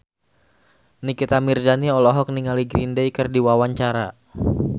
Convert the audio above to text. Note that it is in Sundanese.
Nikita Mirzani olohok ningali Green Day keur diwawancara